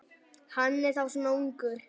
Hann er þá svona ungur.